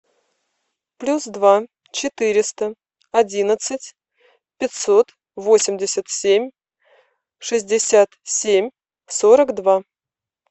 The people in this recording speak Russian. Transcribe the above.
плюс два четыреста одиннадцать пятьсот восемьдесят семь шестьдесят семь сорок два